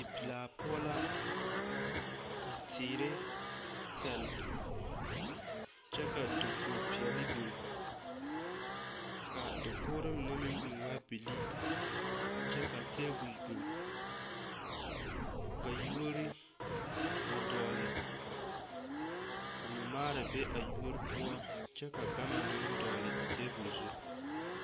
Dipelaa poɔ la ka teere sɛle kyɛ ka dakogipeɛle biŋ ka a dakogri mine meŋ biŋ waa bilii kyɛ ka tabol biŋ ka yuori a dɔgle ka mɔmaara be a yuori poɔ kyɛ ka gama meŋ dɔgle a tabol zu.